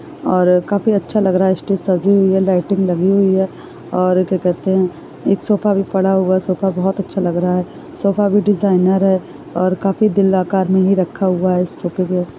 --और काफी अच्छा लग रहा है स्टेज सजी हुई है लाइटिंग लगी हुई है और क्या कहते हैं एक सोफा भी पड़ा हुआ है सोफा बहुत अच्छा लग रहा है सोफा भी डिजाइनर है और काफी दिल आकार में ही रखा हुआ है इस सोफे --